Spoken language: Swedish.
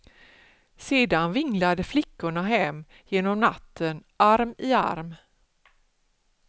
Sedan vinglade flickorna hem genom natten, arm i arm.